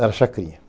Era a Chacrinha.